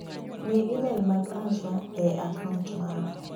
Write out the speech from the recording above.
Ng'i imel mag Asha e kaunt mara.